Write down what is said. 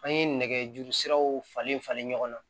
An ye nɛgɛjuru siraw falen falen ɲɔgɔn na